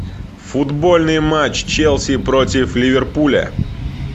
футбольный матч челси против ливерпуля